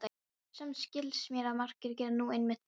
Samt skilst mér að margir geri nú einmitt það.